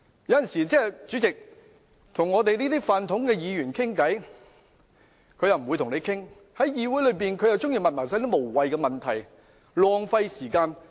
有時我們想與這些"泛統"議員傾談，他們卻拒絕，但又喜歡在議會提出這類無聊問題浪費時間。